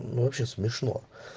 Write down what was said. ну вообще смешно